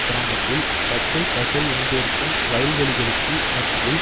கிராமத்தில் பச்சை பசேல் என்றிருக்கும் வயல் வெளிகளுக்கு மத்தியில்